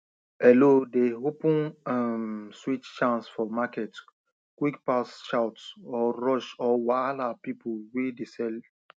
hello dey open um sweet chance for market quick pass shout or rush or wahala people wey de sell